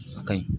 A ka ɲi